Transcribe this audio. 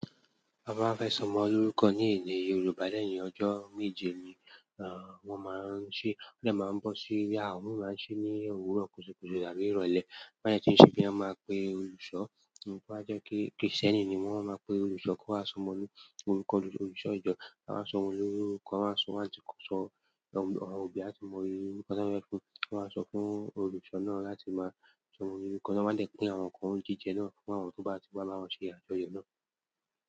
A máa ń fẹ́ sọmọ lórúkọ ní ilẹ̀ Yorùbá lẹ́yìn ọjọ́ méje ni, ah, wọn máa ń ṣe. Ọlẹ máa ń bọ sí yàrá, wọn máa ń ṣe ní òwúrọ̀ kùsùkùsù tàbí ìrọ̀lẹ́. Bí wọ́n yẹ ti ń ṣe bí, a máa pe olùṣọ́. Bí wọ́n bá jẹ́ kí, kìrìsìtẹ́nì ni wọ́n máa pe olùṣọ́ kó wá sọmọ ní orúkọ olùṣọ́ ìjọ. A máa sọmọ lórúkọ, a máa sọ àtìkọ́ sọ, àwọn òbí á tún mọ irú orúkọ tí wọ́n fẹ́ fún. Wọn á sọ fún olùṣọ́ náà láti máa sọmọ ní orúkọ. Wọ́n máa lè pín àwọn nǹkan jíjẹ náà fún àwọn tó bá ti wá bá wọn ṣe àjọyọ̀ náà.